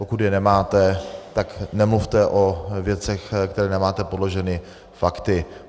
Pokud je nemáte, tak nemluvte o věcech, které nemáte podloženy fakty.